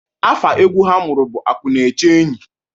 Afa egwu ha mụrụ bụ akụ na-eche enyi.